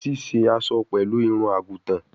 Sise aso pẹlu irun-agutan